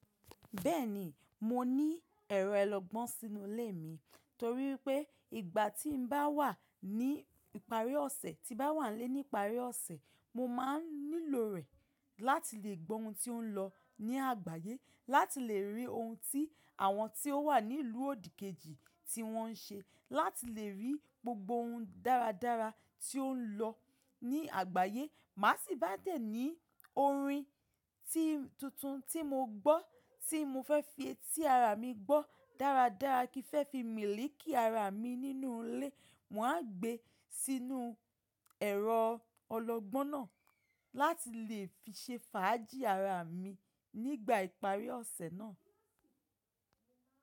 Bẹ́ẹ̀ni, mo ní ẹ̀rọ olọgbọ́n sínú ilé mi torí pé ìgbà tí n bá wà ní ìparí ọ̀sẹ̀, tí bá wà n lé ní ìparí ọ̀sẹ̀, mo máa ń nílò rẹ̀ láti lè gbọ́ ohun tí ó ń lọ ní àgbáyé, láti lè rí ohun tí àwọn tí ó wà nílùú òdìkejì tí wọ́n ń ṣe, láti lè rí gbogbo ohun dáradára tí ó ń lọ ní àgbáyé. Màá sì bá dẹ̀ ní orin tuntun tí mo gbọ́ tí mo fẹ́ fi sí ara mi gbọ́ dáradára kí fẹ́ fi mìlìkì ara mi nínú ilé, mò n gbé sínú ẹ̀rọ ọlọgbọ́n náà láti lè fi ṣe fàájì ara mi nígbà ìparí ọ̀sẹ̀ náà.